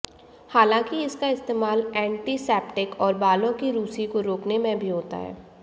हालांकि इसका इस्तेमाल ऐन्टिसेप्टिक और बालों की रूसी को रोकने में भी होता है